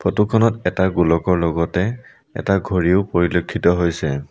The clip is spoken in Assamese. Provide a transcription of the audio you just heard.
ফটো খনত এটা গোলকৰ লগতে এটা ঘড়ীও পৰিলক্ষিত হৈছে।